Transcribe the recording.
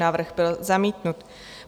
Návrh byl zamítnut.